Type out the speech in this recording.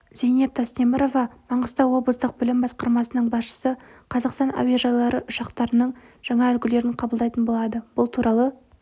зейнеп тастемірова маңғыстау облыстық білім басқармасының басшысы қазақстан әуежайлары ұшақтарының жаңа үлгілерін қабылдайтын болады бұл туралы